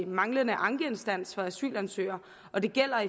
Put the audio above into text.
manglende ankeinstans for asylansøgere og det gælder